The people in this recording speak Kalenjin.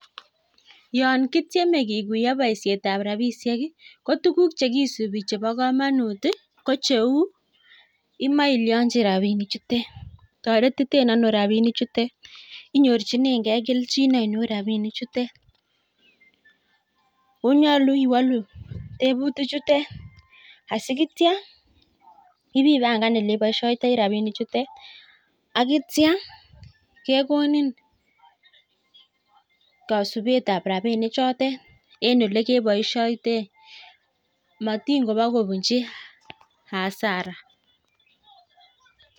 Yon kityeme kikuyo boishetab rabishek ii koguk chekidib chebo kamanut kocheu imoe ilyochi rabinikchutet toretiten another rabinikchuton inyorchinenkei kelchin ainon rabinikchutet oo nuolu iwalu teputichutet asikitya ibibangane oleibishoitoi rabinikchutet akitya kekonin kasubetab rabunikchutet en olekeboishoitoen matin kobakobunji asara.